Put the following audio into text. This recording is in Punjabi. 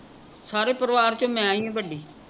ਸਾਰੇ ਪਰਿਵਾਰ ਚੋਂ ਮੈਂ ਈ ਆਂ ਵੱਡੀ